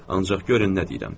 Ancaq görün nə deyirəm.